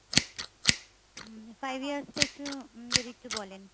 উম five years টা একটু um যদি একটু বলেন।